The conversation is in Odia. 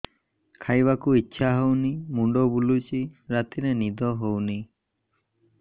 ଖାଇବାକୁ ଇଛା ହଉନି ମୁଣ୍ଡ ବୁଲୁଚି ରାତିରେ ନିଦ ହଉନି